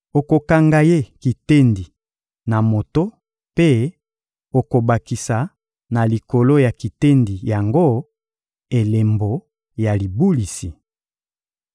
Okokanga ye kitendi na moto mpe okobakisa na likolo ya kitendi yango elembo ya libulisi.